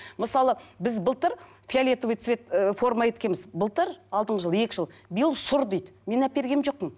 мысалы біз былтыр фиолетовый цвет ыыы форма еткенбіз былтыр алдыңғы жыл екі жыл биыл сұры дейді мен әпергем жоқпын